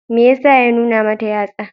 Me ya sa ya nuna mata yatsa?